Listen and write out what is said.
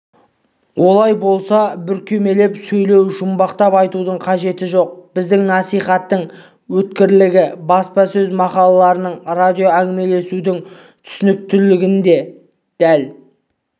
олай болса бүркемелеп сөйлеу жұмбақтап айтудың қажеті жоқ біздің насихаттың өткірлігі баспасөз мақалаларының радиоәңгімелесудің түсініктілігінде дәл